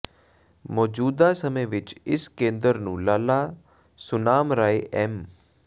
ਮੌਜ਼ੂਦਾ ਸਮੇਂ ਵਿਚ ਇਸ ਕੇਂਦਰ ਨੂੰ ਲਾਲਾ ਸੁਨਾਮ ਰਾਏ ਐਮ